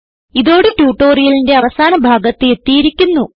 ഇതോടെ ട്യൂട്ടോറിയലിന്റെ അവസാന ഭാഗത്ത് എത്തിയിരിക്കുന്നു